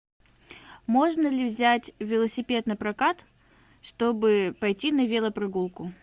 можно ли взять велосипед напрокат чтобы пойти на велопрогулку